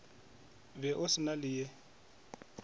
be o se na leye